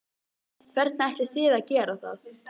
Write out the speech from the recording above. Hvernig ætlið þið að gera það?